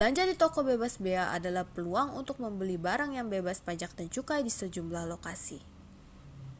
belanja di toko bebas bea adalah peluang untuk membeli barang yang bebas pajak dan cukai di sejumlah lokasi